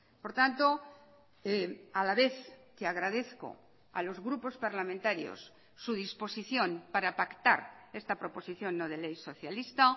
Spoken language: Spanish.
por tanto a la vez que agradezco a los grupos parlamentarios su disposición para pactar esta proposición no de ley socialista